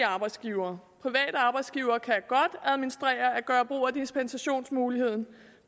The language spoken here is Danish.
arbejdsgivere private arbejdsgivere kan godt administrere at gøre brug af dispensationsmulighederne